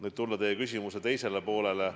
Nüüd tulen teie küsimuse teise poole juurde.